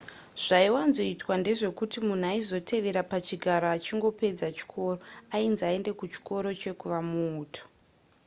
zvaiwanzoitwa ndezvekuti munhu aizotevera pachigaro achingopedza chikoro ainzi aende kuchikoro chekuva muuto